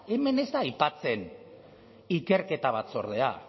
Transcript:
hemen ez da aipatzen ikerketa batzordea